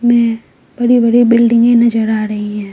में बड़ी-बड़ी बिल्डिंगे नजर आ रही है।